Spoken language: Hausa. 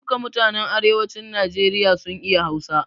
Duka mutanen Arewacin Najeriya sun iya Hausa.